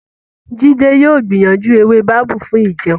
Jide yóò gbìyànjú ewé babú fún ìjẹun.